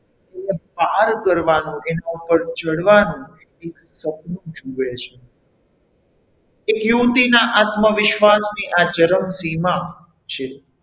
પાર કરવાનું એના ઉપર ચઢવાનું એક સપનું જુએ છે તે યુવતીના આત્મવિશ્વાસની આ ચરમશીમાં છે.